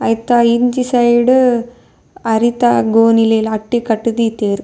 ಐತ ಇಂಚಿ ಸೈಡ್ ಅರಿತ ಗೋಣಿಲೆನ್ ಅಟ್ಟಿ ಕಟ್ ದೀತೆರ್.